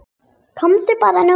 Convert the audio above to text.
Komiði bara núna.